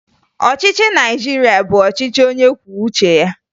Ọchịchị Naịjirịa bụ ọchịchị onyekwuoucheya